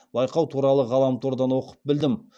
байқау туралы ғаламтордан оқып білдім